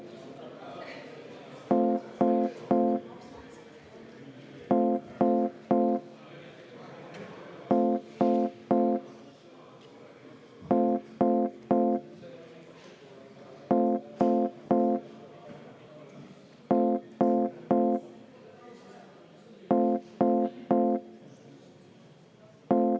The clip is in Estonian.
Alustame hääletamise ettevalmistamist.